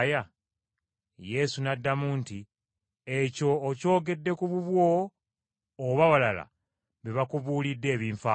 Yesu n’addamu nti, “Ekyo okyogedde ku bubwo oba balala be bakubuulidde ebinfaako?”